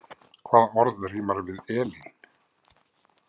Hvaða orð rímar við „Elín“ ?